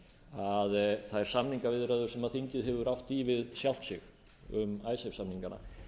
að þær samningaviðræður sem þingið hefur átt í við sjálft sig um icesave samningana